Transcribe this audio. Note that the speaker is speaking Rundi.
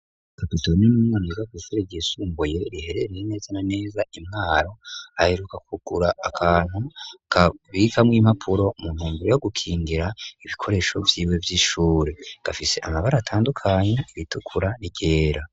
Kapitoni n'umwana yigafise riyisumbuye riherereye neza na neza impwaro ahiruka kugura akantu kabikamwo impapuro munumvire yo gukingira ibikoresho vyiwe vy'ishure gafise amabara atandukanya ibitukura rigera.